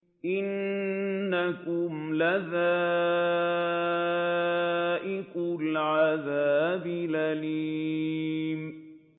إِنَّكُمْ لَذَائِقُو الْعَذَابِ الْأَلِيمِ